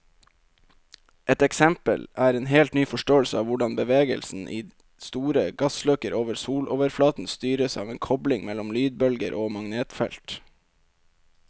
Et eksempel er en helt ny forståelse av hvordan bevegelsen i store gassløkker over soloverflaten styres av en kobling mellom lydbølger og magnetfeltet.